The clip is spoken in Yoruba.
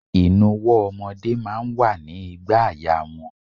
Inuwo ọmọdé máa ń wà ní ìgbàaya wọn.